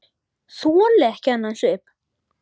Þoli ekki þennan svip.